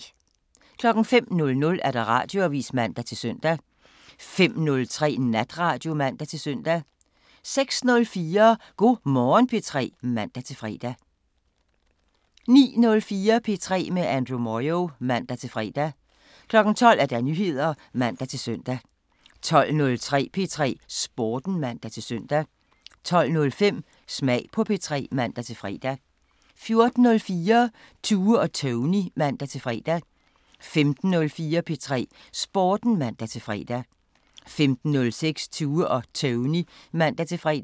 05:00: Radioavisen (man-søn) 05:03: Natradio (man-søn) 06:04: Go' Morgen P3 (man-fre) 09:04: P3 med Andrew Moyo (man-fre) 12:00: Nyheder (man-søn) 12:03: P3 Sporten (man-søn) 12:05: Smag på P3 (man-fre) 14:04: Tue og Tony (man-fre) 15:04: P3 Sporten (man-fre) 15:06: Tue og Tony (man-fre)